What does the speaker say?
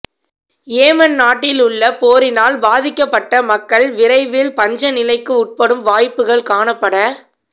Yemen நாட்டிலுள்ள போரினால் பாதிக்கப்பட்ட மக்கள் விரையில் பஞ்சநிலைக்கு உட்படும் வாய்ப்புக்கள் காணப்பட